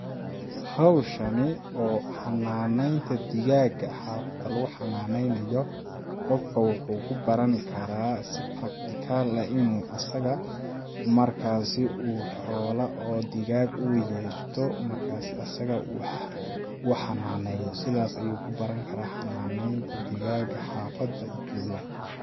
Hawshani oo xananeynta digaaga xaafada lagu xaaneynayo ,qofka waxuu ku barani karaa si practical eh ,inuu asaga markaasi uu xoola oo digaag uu yeeshto markaasi asaga uu xa..uu xanaaneeyo ,sidaasi ayuu ku brani karaa xananeynta digaaga xafada jogaan.